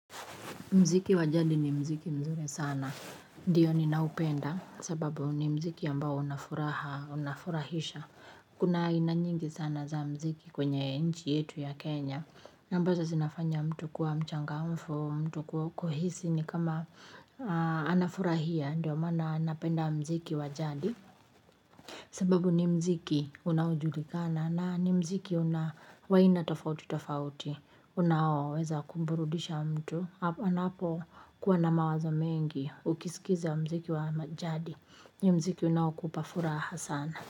Muziki wajadi ni muziki mzuri sana. Ndiyo ninaupenda. Sababu ni muziki ambao unafuraha, unafurahisha. Kuna ainanyingi sana za muziki kwenye nchi yetu ya Kenya. Na ambazo zinafanya mtu kuwa mchanga mfu, mtu kuhisi ni kama anafurahia. Ndiyo maana napenda muziki wajadi. Sababu ni muziki unaojulikana na ni muziki una wa aina tofauti tofauti unao weza kumburudisha mtu. Anapo kuwa na mawazo mengi ukisikiza mziki wa ma jadi ni muziki unao kupa furaha sana.